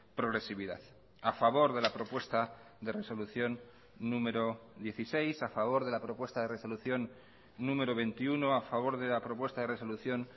progresividad a favor de la propuesta de resolución número dieciséis a favor de la propuesta de resolución número veintiuno a favor de la propuesta de resolución